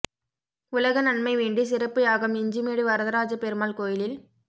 உலக நன்மை வேண்டி சிறப்பு யாகம் இஞ்சிமேடு வரதராஜ பெருமாள் கோயிலில்